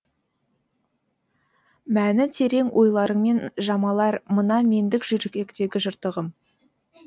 мәні терең ойларыңмен жамалар мына мендік жүректегі жыртығым